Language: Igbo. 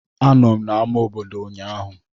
Anọ m na ama obodo ụnyaahụ.